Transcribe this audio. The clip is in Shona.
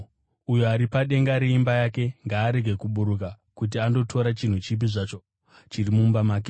Uyo ari padenga reimba yake ngaarege kuburuka kuti andotora chinhu chipi zvacho chiri mumba make.